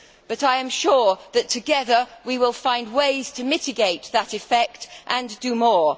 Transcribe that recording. But I am sure that together we will find ways to mitigate that effect and do more.